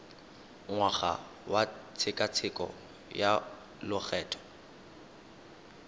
ngwaga wa tshekatsheko ya lokgetho